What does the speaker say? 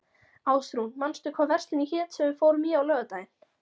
Ásrún, manstu hvað verslunin hét sem við fórum í á laugardaginn?